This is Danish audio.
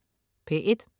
P1: